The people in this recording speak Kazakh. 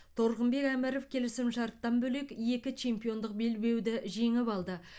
торғынбек әміров келісімшарттан бөлек екі чемпиондық белбеуді жеңіп алды